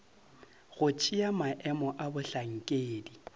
go tšea maemo a bohlankedi